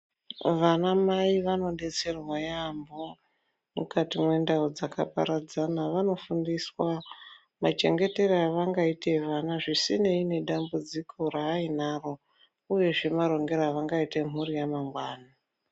Vanamai vanodetserwa yaampo mukati mwendau dzakaparadzana vanofundiswa machengetere avangaite vana zvisinei nedambudziko rainaro uyezve marongere avangaite mhuri yamangwani.